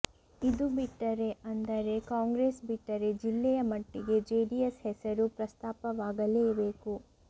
ಇದು ಬಿಟ್ಟರೆ ಅಂದರೆ ಕಾಂಗ್ರೆಸ್ ಬಿಟ್ಟರೆ ಜಿಲ್ಲೆಯ ಮಟ್ಟಿಗೆ ಜೆಡಿಎಸ್ ಹೆಸರು ಪ್ರಸ್ತಾಪವಾಗಲೇ ಬೇಕು